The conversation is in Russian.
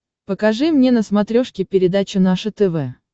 покажи мне на смотрешке передачу наше тв